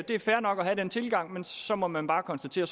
det er fair nok at have den tilgang men så må man bare konstatere